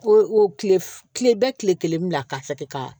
O o kile bɛ kile kelen bila ka fɛ de ka